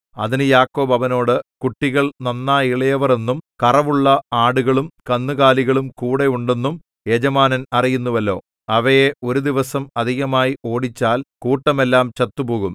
അതിന് യാക്കോബ് അവനോട് കുട്ടികൾ നന്നാ ഇളയവർ എന്നും കറവുള്ള ആടുകളും കന്നുകാലികളും കൂടെ ഉണ്ടെന്നും യജമാനൻ അറിയുന്നുവല്ലോ അവയെ ഒരു ദിവസം അധികമായി ഓടിച്ചാൽ കൂട്ടമെല്ലാം ചത്തുപോകും